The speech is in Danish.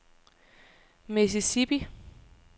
Mississippi